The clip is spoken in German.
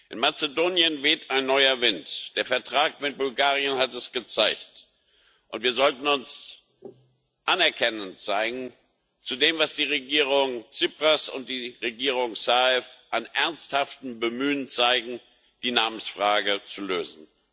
In Mazedonien weht ein neuer Wind der Vertrag mit Bulgarien hat es gezeigt und wir sollten uns anerkennend zeigen gegenüber dem, was die Regierung Tsipras und die Regierung Zaev an ernsthaftem Bemühen zeigen, um die Namensfrage zu lösen.